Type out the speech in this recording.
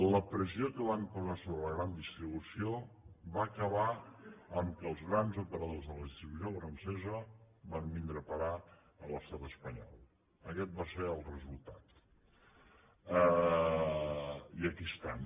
la pressió que van posar sobre la gran distribució va acabar que els grans operadors de la distribució francesa van vindre a parar a l’estat espanyol aguest va ser el resultat i aquí estan